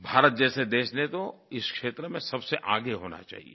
भारत जैसे देश ने तो इस क्षेत्र में सबसे आगे होना चाहिये